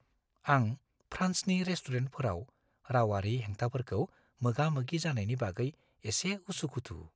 आं फ्रान्सनि रेस्टुरेन्टफोराव रावारि हेंथाफोरखौ मोगा-मोगि जानायनि बागै एसे उसु-खुथु।